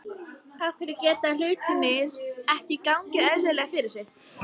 Af hverju geta hlutirnir ekki gengið eðlilega fyrir sig?